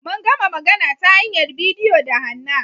Mun gama magana ta hanyar bidiyo da Hannah.